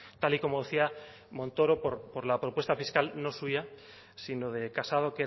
tal y como decía montoro por la propuesta fiscal no suya sino de casado